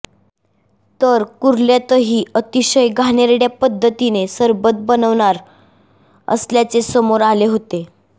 तर कुर्ल्यातही अतिशय घाणेरड्या पद्धतीने सरबत बनवणार असल्याचे समोर आले होते